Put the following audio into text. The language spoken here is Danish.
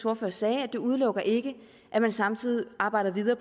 ordfører sagde at det udelukker ikke at man samtidig arbejder videre